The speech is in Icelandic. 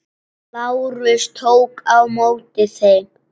Lárus tók á móti þeim.